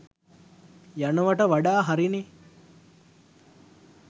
යනවට වඩා හරි නේ.